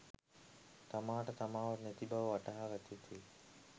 තමාට තමාවත් නැති බව වටහාගත යුතුවේ.